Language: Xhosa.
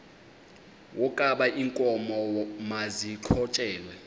wokaba iinkomo maziqhutyelwe